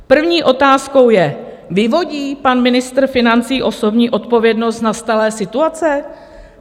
První otázkou je: Vyvodí pan ministr financí osobní odpovědnost z nastalé situace?